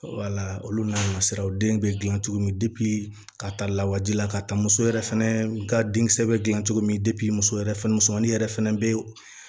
Wala olu n'a masiraw den bɛ gilan cogo min ka ta lawaji la ka taa muso yɛrɛ fɛnɛ ka denkisɛ bɛ dilan cogo min muso yɛrɛ fɛnɛ musomanin yɛrɛ fɛnɛ be